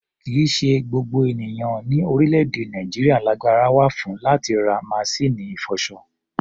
Kì í ṣe gbogbo ènìyàn ní orílẹ̀-èdè Nàìjíríà lagbára wà fún láti ra masíìnì ìfọṣọ.